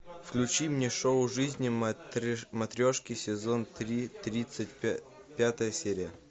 включи мне шоу жизни матрешки сезон три тридцать пятая серия